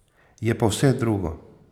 Je pa vse drugo.